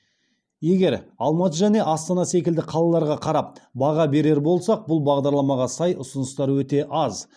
егер алматы және астана секілді қалаларға қарап баға берер болсақ бұл бағдарламаға сай ұсыныстар өте аз